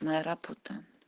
моя работа